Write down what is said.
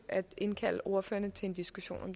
at indkalde ordførerne til en diskussion